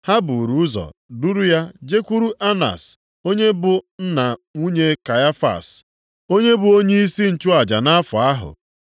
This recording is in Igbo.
Ha buru ụzọ duru ya jekwuru Anas, onye bụ nna nwunye Kaịfas. Onye bụ onyeisi nchụaja nʼafọ ahụ.